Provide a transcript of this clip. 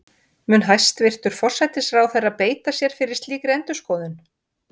Mun hæstvirtur forsætisráðherra beita sér fyrir slíkri endurskoðun?